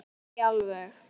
Ekki alveg.